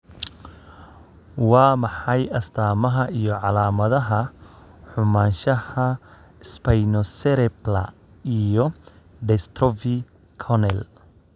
Waa maxay astamaha iyo calaamadaha xumaanshaha Spinocerebellar iyo dystrophy corneal?